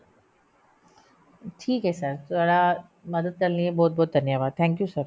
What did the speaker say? ਠੀਕ ਐ sir ਥੋਡਾ ਮਦਦ ਕਰਨ ਲਈ ਬਹੁਤ ਬਹੁਤ ਧੰਨਵਾਦ thank you sir